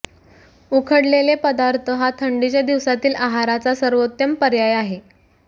उकडलेले पदार्थ हा थंडीच्या दिवसांतील आहाराचा सर्वोत्तम पर्याय आहे